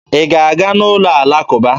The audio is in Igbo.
Ị ga-aga n'ụlọ alakụba!